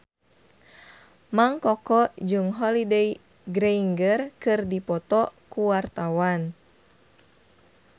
Mang Koko jeung Holliday Grainger keur dipoto ku wartawan